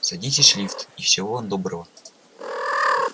садитесь в лифт и всего вам доброго